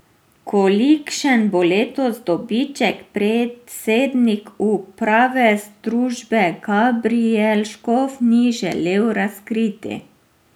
Kolikšen bo letos dobiček, predsednik uprave družbe Gabrijel Škof ni želel razkriti.